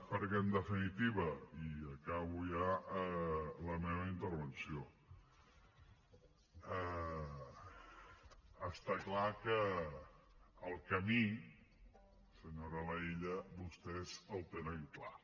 perquè en definitiva i acabo ja la meva intervenció està clar que el camí senyora laïlla vostès el tenen clar